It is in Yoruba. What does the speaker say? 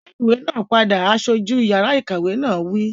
Dá ìwé náà padà! Aṣojú yàrá ìkàwé náà wí